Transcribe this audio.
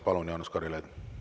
Palun, Jaanus Karilaid!